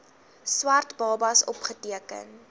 swart babas opgeteken